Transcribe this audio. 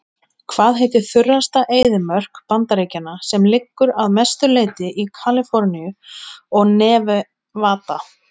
Hvað heitir þurrasta eyðimörk Bandaríkjanna sem liggur að mestu leyti í Kaliforníu og Nevada?